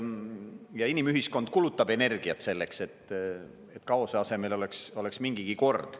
Ja inimühiskond kulutab energiat selleks, et kaose asemel oleks mingigi kord.